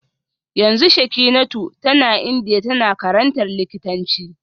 Yanzu Shekinatu tana Indiya tana karantar likitanci